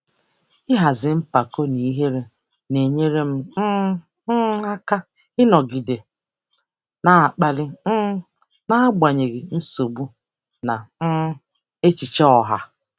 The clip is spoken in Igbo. Ịhazi mpako na ihere na-enyere um m aka ịnọgide na-akpali um n'agbanyeghị nsogbu na um echiche ọha.